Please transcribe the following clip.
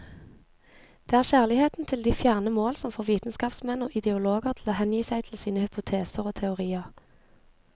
Det er kjærligheten til de fjerne mål som får vitenskapsmenn og ideologer til å hengi seg til sine hypoteser og teorier.